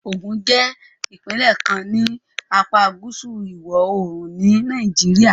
Ogun jẹ́ ìpínlẹ̀ kan ní apá gúúsù ìwọ̀-oòrùn ni Nàìjíríà